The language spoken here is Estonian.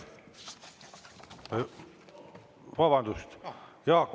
Vabandust!